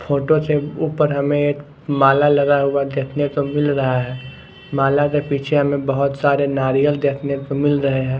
Photo से ऊपर हमें एक माला लगा हुआ देखने को मिल रहा है। माला के पीछे हमें बहोत सारे नारियल देखने को मिल रहे हैं।